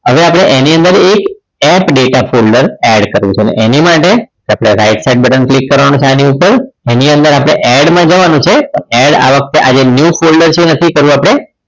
હવે આપણે એની અંદર એક app data folder add કરવું છે એની માટે આપણે right side button click કરવાનું signing છે એની અંદર આપણે add માં જવાનું છે add આવે આ new folder છે એ નથી કરવું આપણે